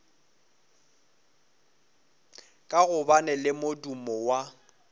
ka gobane le modumo wa